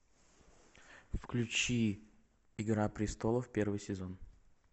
включи игра престолов первый сезон